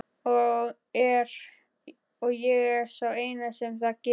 Og ég er sá eini sem það gerir.